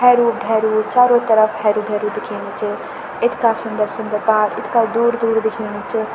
हैरू भैरू चारो तरफ हैरू भैरू दिखेणु च इतका सुन्दर सुन्दर पहाड़ इतका दूर दूर दिखेणु च।